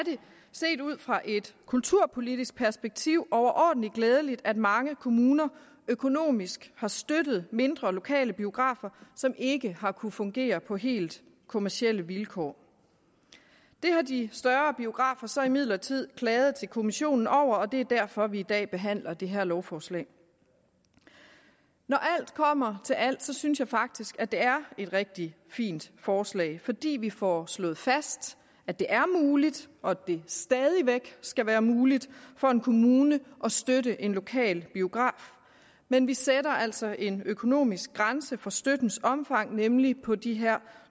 set ud fra et kulturpolitisk perspektiv overordentlig glædeligt at mange kommuner økonomisk har støttet mindre lokale biografer som ikke har kunnet fungere på helt kommercielle vilkår det har de større biografer så imidlertid klaget til kommissionen over og det er derfor vi i dag behandler det her lovforslag når alt kommer til alt synes jeg faktisk at det er et rigtig fint forslag fordi vi får slået fast at det er muligt og at det stadig væk skal være muligt for en kommune at støtte en lokal biograf men vi sætter altså en økonomisk grænse for støttens omfang nemlig på de her